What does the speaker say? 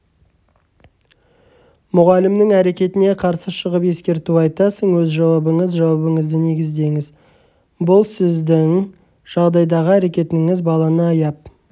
мұғалімнің әрекетіне қарсы шығып ескерту айтасың өз жауабыңыз жауабыңызды негідеңіз сіздің бұл жағдайдағы әрекетіңіз баланы аяп